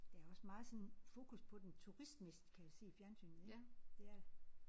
Der er også meget sådan fokus på den turistmæssigt kan jeg se i fjernsynet ik det er der